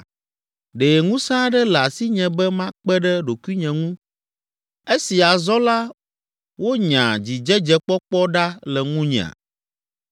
Ɖe ŋusẽ aɖe le asinye be makpe ɖe ɖokuinye ŋu, esi azɔ la wonya dzidzedzekpɔkpɔ ɖa le ŋunyea?